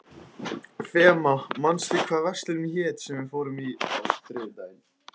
Fema, manstu hvað verslunin hét sem við fórum í á þriðjudaginn?